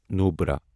Nubra